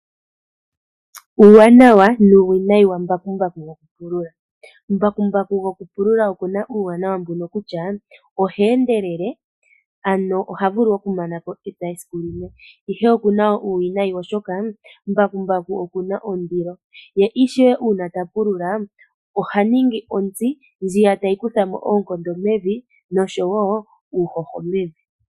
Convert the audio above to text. Uuwanawa nuuwinayi wambakumbaku gwokupulula. Mbakumbaku gwokupulula oku na uuwanawa mbuno kutya, oha endelele, ano oha vulu okumana ko epya esiku limwe, ihe oku na uuwinayi, oshoka mbakumbaku oku na ondilo, ye ishewe uuna ta pulula oha ningi ontsi ndjiya tayi kutha mo oonkondo mevi, nosho wo uuhoho mevi.